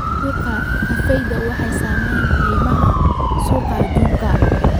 Suuqa kafeega waxaa saameeya qiimaha suuqa adduunka.